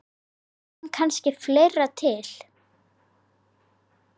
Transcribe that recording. Eða kom kannski fleira til?